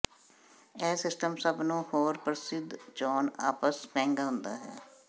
ਇਹ ਸਿਸਟਮ ਸਭ ਨੂੰ ਹੋਰ ਪ੍ਰਸਿੱਧ ਚੋਣ ਆਪਸ ਮਹਿੰਗਾ ਹੁੰਦਾ ਹੈ